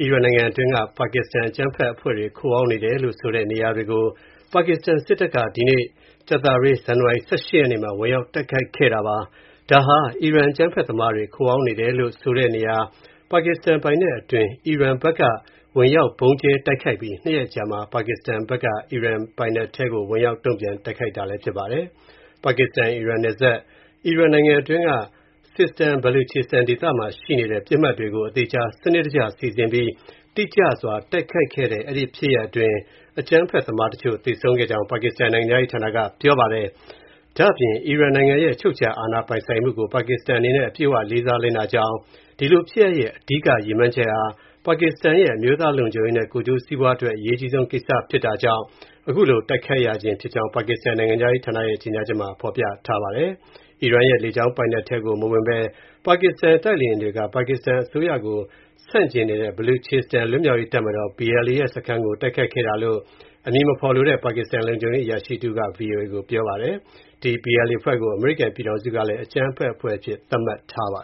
အီရန်နိုင်ငံအတွင်းက ပါကစ္စတန် အကြမ်းဖက်အဖွဲ့တွေ ခိုအောင်းနေတယ်လို့ဆိုတဲ့ နေရာတွေကို ပါကစ္စတန် စစ်တပ်က ဒီကနေ့ ဇန်နဝါရီ ၁၈ ရက်နေ့မှာ ဝင်ရောက် တိုက်ခိုက်ခဲ့ပါတယ်။ ဒါဟာ အီရန် အကြမ်းဖက်သမားတွေ ခိုအောင်းနေတယ်လို့ ဆိုတဲ့နေရာ ပါကစ္စတန် ပိုင်နက်အတွင်း အီရန်က ဝင်ရောက် ဗုံးကျဲ တိုက်ခိုက်ပြီး ၂ ရက်အကြာမှာ ပါကစ္စတန်ဘက်က အီရန်ပိုင်နက်ထဲကို ဝင်ရောက် တိုက်ခိုက်တာလည်း ဖြစ်ပါတယ်။ ပါကစ္စတန်-အီရန် နယ်စပ်၊ အီရန်နိုင်ငံအတွင်းက Sistan-Baluchistan ဒေသမှာ ရှိနေတဲ့ ပစ်မှတ်တွေကို အသေအချာ စနစ်တကျစီစဉ်ပြီး တိတိကျကျ တိုက်ခိုက်ခဲ့တဲ့ အဲဒီ ဖြစ်ရပ်အတွင်း အကြမ်းဖက်သမားတချို့ သေဆုံးခဲ့ကြောင်း ပါကစ္စတန် နိုင်ငံခြားရေးဌာနက ပြောပါတယ်။ အီရန်နိုင်ငံရဲ့ အချုပ်အခြာ ပိုင်ဆိုင်မှုကို ပါကစ္စတန်အနေနဲ့ အပြည့်အဝ လေးစား လိုက်နာကြောင်း၊ ဒီဖြစ်ရပ်ရဲ့ အဓိက ရည်မှန်းချက်ဟာ ပါကစ္စတန်ရဲ့ အမျိုးသားလုံခြုံရေးနဲ့ အကျိုးစီးပွားအတွက် အရေးအကြီးဆုံး ကိစ္စရပ်ဖြစ်တာကြောင့် အခုလို တိုက်ခိုက်ရခြင်းဖြစ်ကြောင်း ပါကစ္စတန် နိုင်ငံခြားရေးဌာနရဲ့ ကြေညာချက်မှာ ဖော်ပြထားပါတယ်။ အီရန်ရဲ့ လေကြောင်းပိုင်နက်ထဲကို မဝင်ဘဲ ပါကစ္စတန် တိုက်လေယာဉ်တွေက ပါကစ္စတန် အစိုးရကို ဆန့်ကျင်နေတဲ့ Baluchistan လွတ်မြောက်ရေးတပ်မတော် (BLA) ရဲ့ စခန်းကို တိုက်ခိုက်ခဲ့တာလို့ အမည်မဖော်လိုတဲ့ ပါကစ္စတန် လုံခြုံရေးအရာရှိက VOA ကို ပြောပါတယ်။ ဒီ BLA အဖွဲ့ကို အမေရိကန်ပြည်ထောင်စုကလည်း အကြမ်းဖက်အဖွဲ့အဖြစ် သတ်မှတ်ထားတာပါ